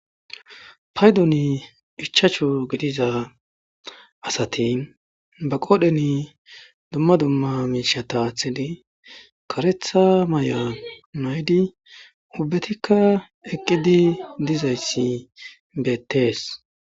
paydon ichacho gidiza asati ba qoodheni dumma dumma miisha taathidi karetha may7a naydi ubbetikka eqqidi dizayssi beettees